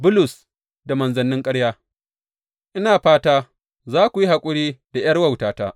Bulus da manzannin ƙarya Ina fata za ku yi haƙuri da ’yar wautata.